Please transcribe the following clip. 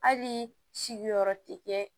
Hali sigiyɔrɔ tɛ kɛ